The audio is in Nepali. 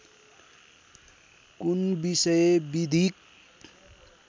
कुन विषय विधिक